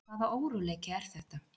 Hvaða óróleiki er þetta?